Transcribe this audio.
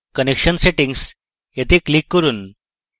connection settings click করুন